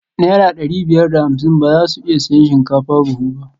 Naira dari biyar da hamsin ba za su iya siyan shinkafa buhu ba